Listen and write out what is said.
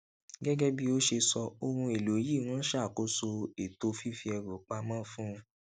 gégé bí ó ṣe sọ ohun èlò yìí ń ṣàkóso ètò fífi ẹrù pa mó fún